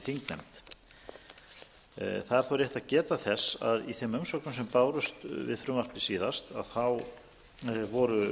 þó rétt að geta þess að í þeim umsögnum sem bárust við frumvarpið síðast er að finna